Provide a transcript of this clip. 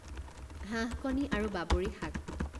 হাঁহ কণী আৰু বাবৰি শাক